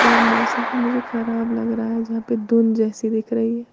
और मौसम तो मुझे खराब लग रहा है जहां पे धुंध जैसी दिख रही है।